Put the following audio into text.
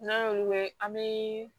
N'an y'olu mɛn an bɛ